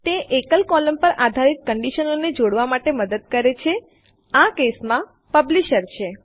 તે એકલ કોલમ પર આધારિત કંડીશનોને જોડાવા માટે મદદ કરે છે આ કેસમાં પબ્લિશર છે